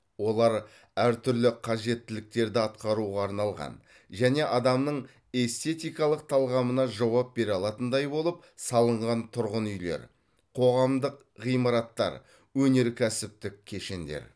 олар әр түрлі қажеттіліктерді атқаруға арналған және адамның эстетикалық талғамына жауап бере алатындай болып салынған тұрғын үйлер қоғамдық ғимараттар өнеркәсіптік кешендер